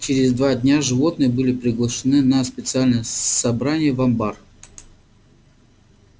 через два дня животные были приглашены на специальное собрание в амбар